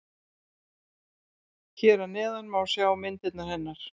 Hér að neðan má sjá myndirnar hennar.